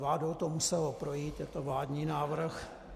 Vládou to muselo projít, je to vládní návrh.